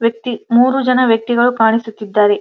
ವ್ಯಕ್ತಿ ಮೂರು ಜನ ವ್ಯಕ್ತಿಗಳು ಕಾಣಿಸುತ್ತಿದ್ದಾರೆ.